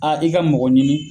A i ka mɔgɔ ɲini